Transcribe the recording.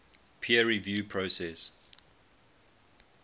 peer review process